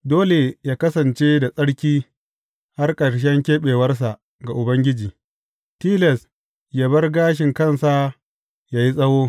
Dole yă kasance da tsarki har ƙarshen keɓewarsa ga Ubangiji; tilas yă bar gashin kansa yă yi tsawo.